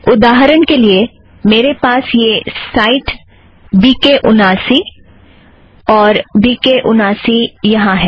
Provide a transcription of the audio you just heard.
उदाहरण के लिए मेरे पास यह साइट वी के उनासी है और वी के उनासी यहाँ है